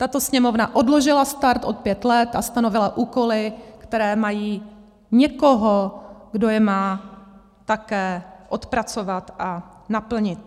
Tato Sněmovna odložila start o pět let a stanovila úkoly, které mají někoho, kdo je má také odpracovat a naplnit.